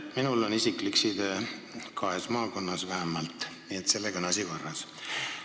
Minul on isiklik side vähemalt kahes maakonnas, nii et sellega on asi korras.